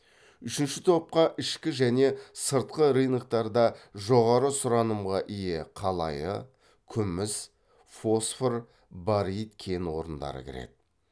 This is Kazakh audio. үшінші топқа ішкі және сыртқы рыноктарда жоғары сұранымға ие қалайы күміс фосфор барит кен орындары кіреді